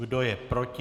Kdo je proti?